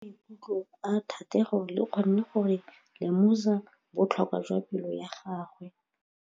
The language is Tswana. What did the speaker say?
Lentswe la maikutlo a Thategô le kgonne gore re lemosa botlhoko jwa pelô ya gagwe.